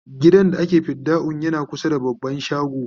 gidan da ake fidda'un yana kusa da baban shago